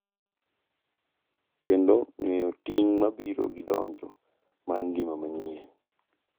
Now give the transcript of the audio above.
Kendo ng’eyo ting’ ma biro gi donjo mar ngima manyien.